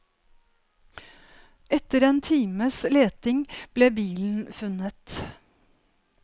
Etter en times leting ble bilen funnet.